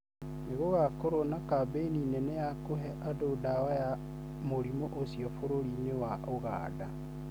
Nĩ gũgakorũo na kambĩini nene ya kũhe andũ ndawa ya mũrimũ ũcio bũrũri-inĩ wa Uganda.